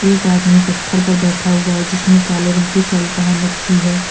एक आदमी पत्थर पर बैठा हुआ है जिसने काले रंग की शर्ट पहन रखी है।